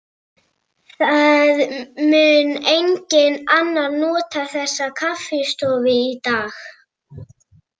Það mun enginn annar nota þessa kaffistofu í dag.